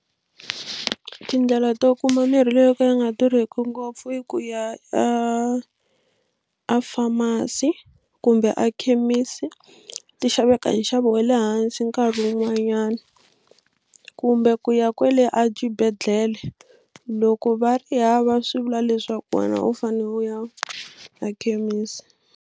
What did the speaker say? Tindlela to kuma mirhi leyi yo ka ya nga durhiki ngopfu i ku ya a a pharmacy kumbe a khemisi ti xaveka hi nxavo wa le hansi nkarhi wun'wanyani kumbe ku ya kwale exibedhlele loko va ri hava swi vula leswaku wena u fane u ya ekhemisi.